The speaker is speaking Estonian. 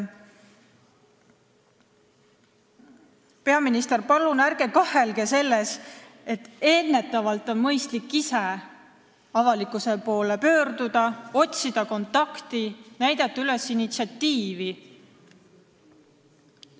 Peaminister, palun ärge kahelge selles, et mõistlik on ise ennetavalt avalikkuse poole pöörduda, otsida kontakti, näidata üles initsiatiivi.